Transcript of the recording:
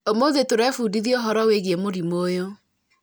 ũmũthĩ tũrebundithia ũhoro wĩgiĩ mũrimũ ũyũ